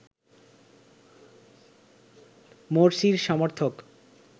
মোরসির সমর্থক